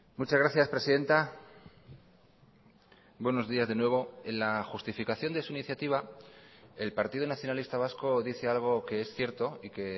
muchas gracias presidenta buenos días de nuevo en la justificación de su iniciativa el partido nacionalista vasco dice algo que es cierto y que